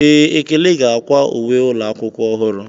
Ee, ekene ga-akwa uwe ụlọ akwụkwọ ọhụrụ.